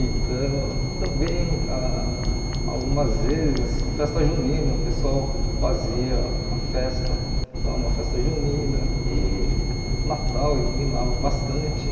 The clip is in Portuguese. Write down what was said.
Então, também, ah algumas vezes, em festa junina, o pessoal fazia uma festa lá, uma festa junina e Natal iluminava bastante.